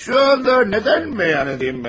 Şu anda neden mi yan ediyim ben?